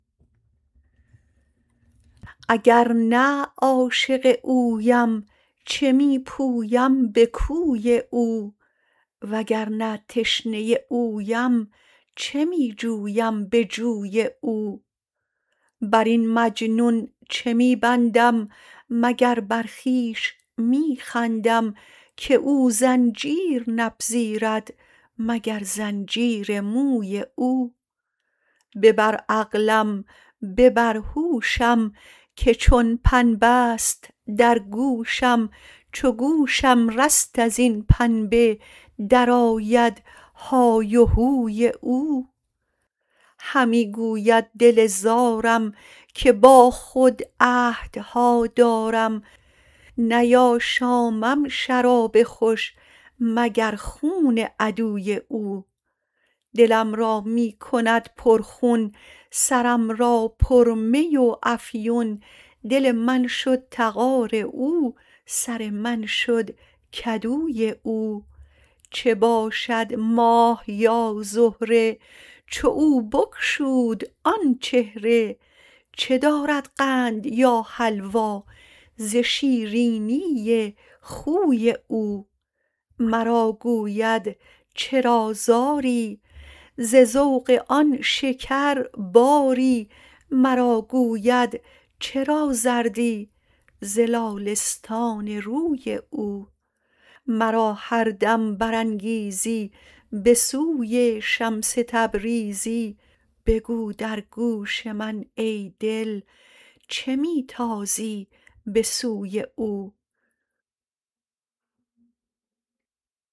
اگر نه عاشق اویم چه می پویم به کوی او وگر نه تشنه اویم چه می جویم به جوی او بر این مجنون چه می بندم مگر بر خویش می خندم که او زنجیر نپذیرد مگر زنجیر موی او ببر عقلم ببر هوشم که چون پنبه ست در گوشم چو گوشم رست از این پنبه درآید های هوی او همی گوید دل زارم که با خود عهدها دارم نیاشامم شراب خوش مگر خون عدوی او دلم را می کند پرخون سرم را پرمی و افیون دل من شد تغار او سر من شد کدوی او چه باشد ماه یا زهره چو او بگشود آن چهره چه دارد قند یا حلوا ز شیرینی خوی او مرا گوید چرا زاری ز ذوق آن شکرباری مرا گوید چرا زردی ز لاله ستان روی او مرا هر دم برانگیزی به سوی شمس تبریزی بگو در گوش من ای دل چه می تازی به سوی او